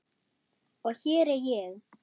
Og hér er ég.